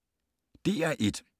DR1